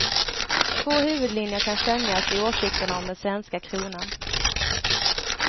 Två huvudlinjer kan skönjas i åsikterna om den svenska kronan.